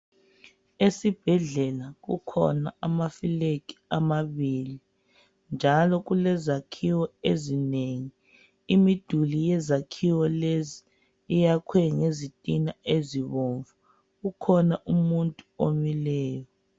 Esibhedlela kukhona amafulegi amabili njalo kulezakhiwo ezinengi imiduli yezakhiwo lezi yakhiwe ngezitina ezibomvu kukhona umuntu omileyo.